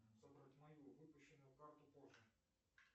забрать мою выпущенную карту позже